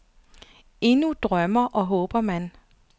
Endnu drømmer og håber han.